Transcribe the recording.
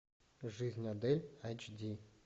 жизнь адель айч ди